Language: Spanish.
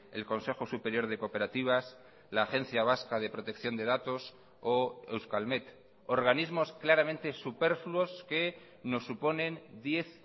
el consejo superior de cooperativas la agencia vasca de protección de datos o euskalmet organismos claramente superfluos que nos suponen diez